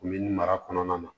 Min mara kɔnɔna na